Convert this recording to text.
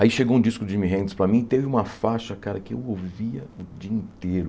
Aí chegou um disco do Jimi Hendrix para mim e teve uma faixa, cara, que eu ouvia o dia inteiro.